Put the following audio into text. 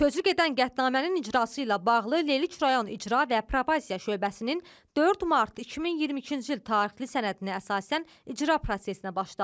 Sözügedən qətnamənin icrası ilə bağlı Lerik rayon İcra və Probasiya şöbəsinin 4 mart 2022-ci il tarixli sənədinə əsasən icra prosesinə başlanılıb.